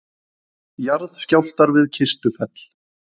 Jarðskjálftar við Kistufell